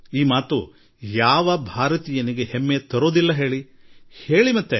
ನೀವೇ ಹೇಳಿ ಯಾವ ಭಾರತೀಯನಿಗೆ ಇದು ಹೆಮ್ಮೆ ತರದೇ ಇರುವುದಿಲ್ಲ